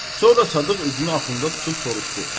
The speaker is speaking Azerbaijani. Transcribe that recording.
Sonra Sadıq üzünü Axunda tutub soruşdu: